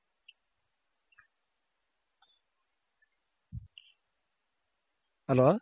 hello